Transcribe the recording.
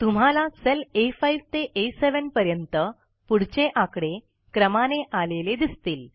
तुम्हाला सेल आ5 ते आ7 पर्यंत पुढचे आकडे क्रमाने आलेले दिसतील